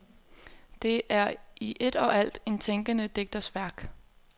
Det er i et og alt en tænkende digters værk.